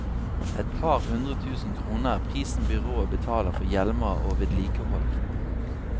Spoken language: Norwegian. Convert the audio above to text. Et par hundre tusen kroner er prisen byrået betaler for hjelmer og vedlikehold.